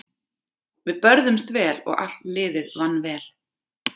Við börðumst vel og allt liðið vann vel.